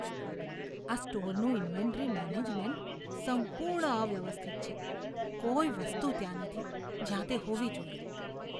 આ સ્ટોરનું inventory management સંપૂર્ણ અવ્યવસ્થિત છે. કોઈ વસ્તુ ત્યાં નથી, જ્યાં તે હોવી જોઈએ.